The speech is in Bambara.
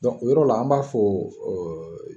o yɔrɔ la an b'a fɔ